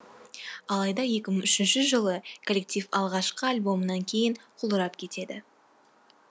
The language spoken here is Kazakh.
алайда екі мың үшінші жылы коллектив алғашқы альбомынан кейін құлдырап кетеді